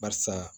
Barisa